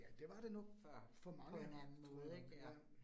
Ja det var det nok for mange tror jeg nok ja